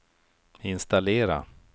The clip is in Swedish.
installera